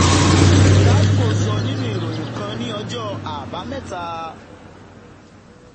gapco sọ nínú ìròyìn kan ní ọjọ́ àbámẹ́ta.